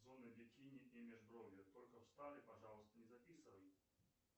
зона бикини и межбровье только в старый пожалуйста не записывай